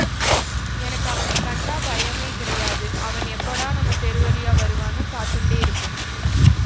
எனக்கு அவனை கண்டா பயமே கிடையாது அவன் எப்போடா நம்ம தெரு வழியா வருவான்னு காத்துண்டே இருப்பேன்